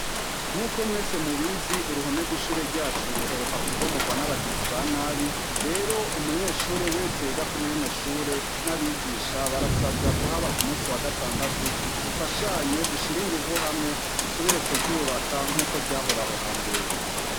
nk'uko mwese mu bizi uruhome rw'ishure ryacu ruheruka ku bomorwa n'abagizi ba nabi rero umunyeshuri wese yiga kuri rino shure n'abigisha barasabwa kuhaba ku munsi wa gatandatu dufashanye dushire inguvu hamwe dusubire kuryubaka nk'uko ryahoraho kwa mbere